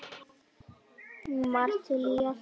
Hún var til í allt.